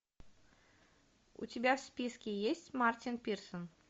у тебя в списке есть мартин пирсен